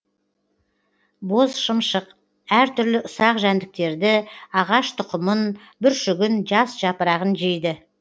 бозшымшық әр түрлі ұсақ жәндіктерді ағаш тұқымын бүршігін жас жапырағын жейді